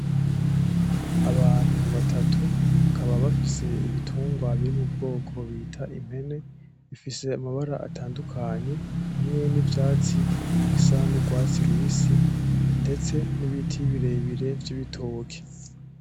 Abantu batatu bakaba bafise ibitungwa buri mu bwoko bita impene. Bifise amabara atandukanye hamwe nivyatsi bisa n’urwatsi rubisi ndetse n'ibiti birebire vy'ibitoke.